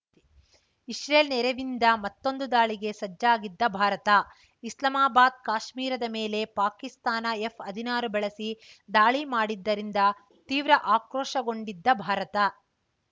Israel ನೆರವಿಂದ ಮತ್ತೊಂದು ದಾಳಿಗೆ ಸಜ್ಜಾಗಿದ್ದ ಭಾರತ ಇಸ್ಲಾಮಾಬಾದ್‌ ಕಾಶ್ಮೀರದ ಮೇಲೆ ಪಾಕಿಸ್ತಾನ ಎಫ್‌ ಹದಿನಾರು ಬಳಸಿ ದಾಳಿ ಮಾಡಿದ್ದರಿಂದ ತೀವ್ರ ಆಕ್ರೋಶಗೊಂಡಿದ್ದ ಭಾರತ